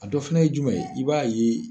A dɔ fana ye jumɛn ye i b'a ye